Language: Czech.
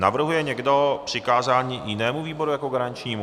Navrhuje někdo přikázání jinému výboru jako garančnímu?